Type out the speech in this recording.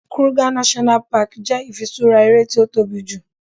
Kruger National Park jẹ ifisura eré ti o tóbi ju